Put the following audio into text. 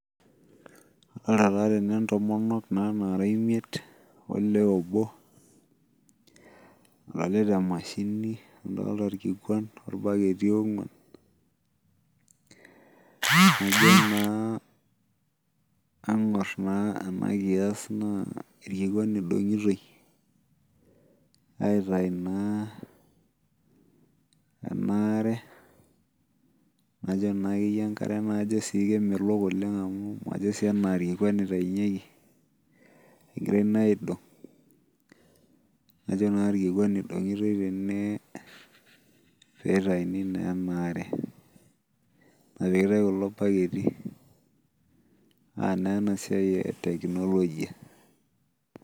Ore taa tene ntomonok naara imiet, olee obo. nadol emashini, adolta irkikuan. ornaketi oonguan. tenijo naa iangor naa ena kias naa irkikuan edungotoi aitayu naa, kajo naa akeyie enkare keemelok oleng amu majo sii enaa irkikuan otayunyeki, egirae naa aidong. kajo naa irkikuan itayitoi tene. pee itayuni naa ena are. epikitai kulo baketi aa naa ena siai e technology.